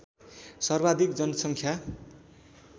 सर्वाधिक जनसङ्ख्या